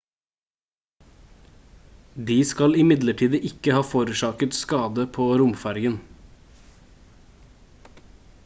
de skal imidlertid ikke ha forårsaket skade på romfergen